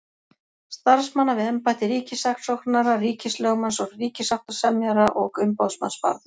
Starfsmanna við embætti ríkissaksóknara, ríkislögmanns, ríkissáttasemjara og umboðsmanns barna.